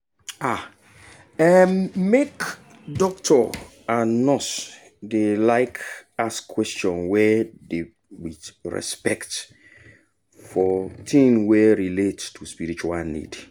ah erm make dokto and nurse deylike ask question wey dey wit respect for tin wey relate to spiritual need